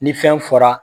Ni fɛn fɔra